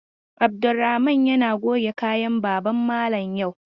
Abdulrahaman yana goge kayan baban malam yau.